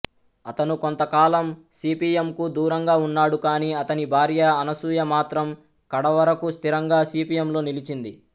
అతను కొంతకాలం సిపిఎంకు దూరంగా ఉన్నాడు కానీ అతని భార్య అనసూయ మాత్రం కడవరకూ స్థిరంగా సిపిఎంలో నిలిచింది